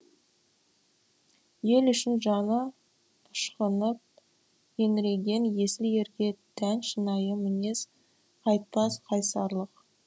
ел үшін жаны ышқынып еңіреген есіл ерге тән шынайы мінез қайтпас қайсарлық